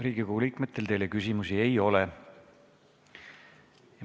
Riigikogu liikmetel teile küsimusi ei ole.